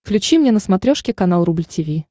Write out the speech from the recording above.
включи мне на смотрешке канал рубль ти ви